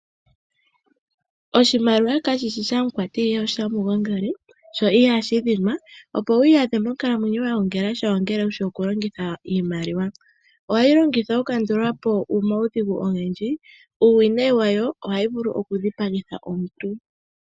Oshimaliwa kashishi shamukwati ihe osha mugongeli, sho ihashi dhinwa. Opo wi iyadhe monkalamwenyo wa gongelasha ongele wushi oku kwata oshimaliwa. Ohayi longithwa oku kandulapo oomautsakadhi ogendji. Uuwinayi wayo ohayi vulu oku dhipagitha omuntu.